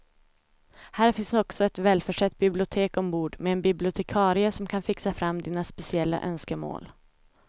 Här finns också ett välförsett bibliotek ombord med en bibliotekarie som kan fixa fram dina speciella önskemål.